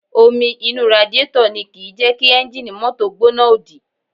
Omi inú radiátọ̀ ni kìí jẹ́ kí ẹ́ńjì mọ́tò gbóná òdì